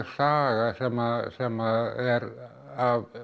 saga sem sem er af